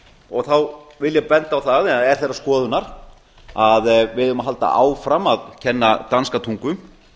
og þá vil ég benda á það eða er þeirrar skoðunar að við eigum að halda áfram að kenna danska tungu